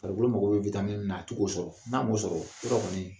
Farikolo mako bɛ witamini min na a tɛ k'o sɔrɔ. N'a m'o sɔrɔ, yɔrɔ kɔni